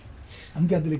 hann gæti líka